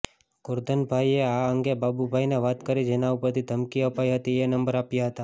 ગોરધનભાઇએ આ અંગે બાબુભાઇને વાત કરી જેના ઉપરથી ધમકી અપાઇ હતી એ નંબર આપ્યા હતાં